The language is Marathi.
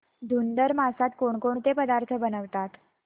धुंधुर मासात कोणकोणते पदार्थ बनवतात